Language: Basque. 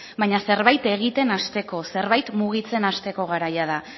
baina zerbait egiten hasteko zerbait mugitzen hasteko garaia da